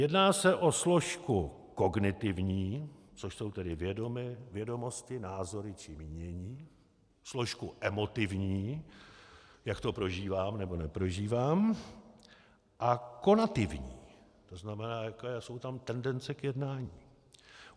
Jedná se o složku kognitivní, což jsou tedy vědomosti, názory či mínění, složku emotivní - jak to prožívám, nebo neprožívám, a konativní, to znamená, jaké jsou tam tendence k jednání.